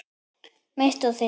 Mitt og þitt.